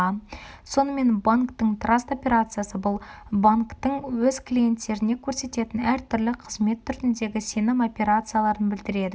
сонымен банктің траст операциясы бұл банктің өз клиенттеріне көрсететін әртүрлі қызмет түріндегі сенім операцияларын білдіреді